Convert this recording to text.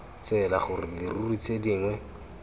tsela gore dirori tse dingwe